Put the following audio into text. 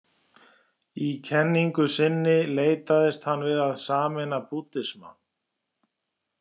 Í kenningu sinni leitaðist hann við að sameina búddisma.